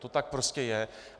To tak prostě je.